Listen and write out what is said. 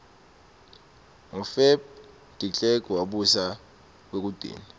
ngo feb derklerk wabusa kwekugcina